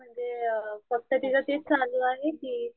म्हणजे फक्त तीच तेच चालू आहे कि,